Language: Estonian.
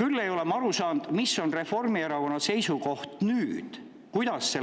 Küll ei ole ma aru saanud, mis on Reformierakonna seisukoht nüüd ja kuidas peaks